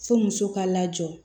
Fo muso ka lajɔ